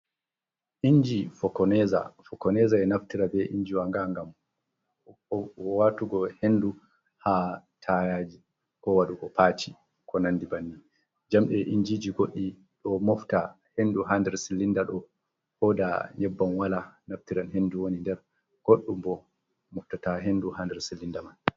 Inji fokoneza, fokoneza enaftira be injiwa nga ngam waatugo hendu ha tayaji. Ko waɗugo paci konandi banni. Jamdee injiji godɗi ɗo mofta hendu ha ndir Silindaɗo koda yebbam wala naftiran hendu woni nder. Godɗumbo moftata hendu ha ndiler Silinda man.